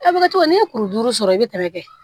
A bɛ kɛ cogo min n'i ye kuru duuru sɔrɔ i bi tɛmɛ kɛ